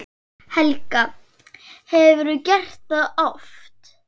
Helga: Hefurðu gert það oft?